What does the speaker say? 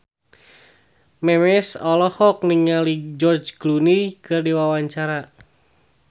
Memes olohok ningali George Clooney keur diwawancara